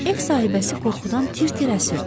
Ev sahibəsi qorxudan tir-tir əsirdi.